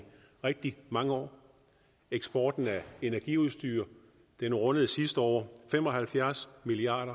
rigtig mange år eksporten af energiudstyr rundede sidste år fem og halvfjerds milliard